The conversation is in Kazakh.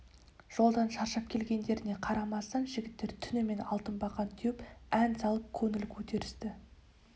жолдан шаршап келгендеріне қарамастан жігіттер түнімен алтыбақан теуіп ән салып көңіл көтерісті